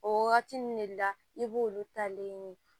O wagati nun ne la i b'olu talen ɲini